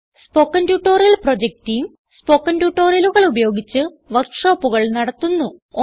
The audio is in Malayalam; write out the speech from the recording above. spoken tutorial project team spoken ട്യൂട്ടോറിയലുകൾ ഉപയോഗിച്ച് വർക്ക് ഷോപ്പുകൾ നടത്തുന്നു